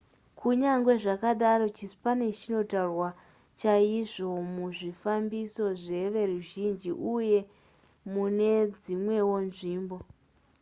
kunyange zvakadaro chispanish chinotaurwa chaizvo muzvifambiso zveveruzhinji uye mune dzimwewo nzvimbo